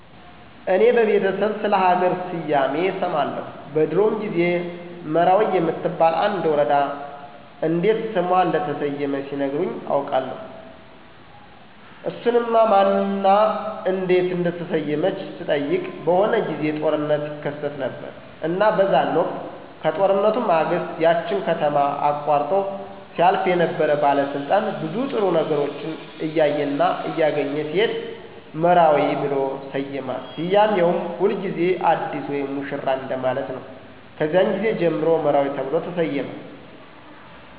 እኔ በቤተሰብ ስለ ሀገር ስያሜ እሰማለሁ በድሮዎ ጊዜ መራዊ የምትባል አንድ ወረዳ እንዴት ስሟ እንደተሰየመ ሲነግሩኝ አቃለሁ እሱንም ማን እና እንዴት እንደተሰየመች ስጠይቅ በሆነ ጊዜ ጦርነት ይከሰት ነበረ እና በዛን ወቅት ከጦርነቱ ማግስት ያችን ከተማ አቆርጦ ሲያልፍ የነበረ ባለስልጣን ብዙ ጥሩ ነገሮችን እያየና እያገኘ ሲሄድ መራዊ ብሎ ሰየማት ስያሜውም ሁልጊዜ አዲስ ወይም ሙሽራ እንደማለት ነው ከዚያን ጊዜ ጀምሮ መራዊ ተብሎ ተሰየመ።